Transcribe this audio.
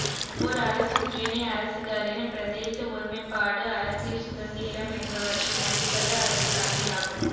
ஒவ்வொரு அரசும் ஏனைய அரசுகளின் பிரதேச ஒருமைப்பாடு அரசியல் சுதந்திரம் என்பவற்றை மதிப்பது அதன் கடமையாகும்